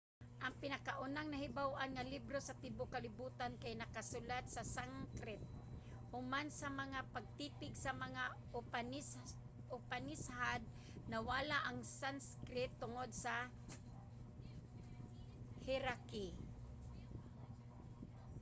ang pinakaunang nahibaw-an nga libro sa tibuok kalibutan kay nakasulat sa sanskrit. human sa mga pagtipig sa mga upanishad nawala ang sanskrit tungod sa hierarchy